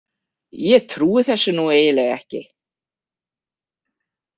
Ég trúi þessu nú eiginlega ekki!